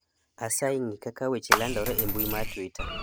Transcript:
asayi ng'i kaka weche landore e mbui mar twita